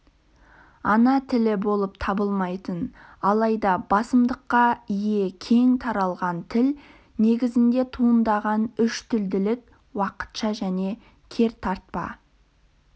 ана тілі болып табылмайтын алайда басымдыққа ие кең таралған тіл негізінде туындаған үштілділік уақытша және кертартпа